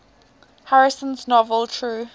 harrison's novel true